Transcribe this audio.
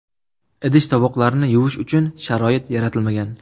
Idish-tovoqlarni yuvish uchun sharoit yaratilmagan.